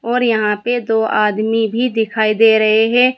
और यहां पे दो आदमी भी दिखाई दे रहे है।